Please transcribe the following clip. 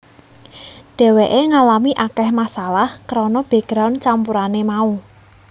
Dheweké ngalami akeh masalah kerana background campurané mau